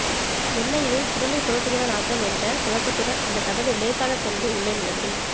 என்ன இது குடலை புரட்டுகிற நாத்தம் என்ற குழப்பத்துடன் அந்த கதவை லேசாக தள்ளி உள்ளே நுழைந்தேன்